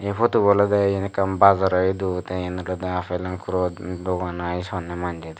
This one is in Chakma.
eh photo olode eyan ekkan bazaro edu te eyen olodey aaple angur dogan i honeh manjey.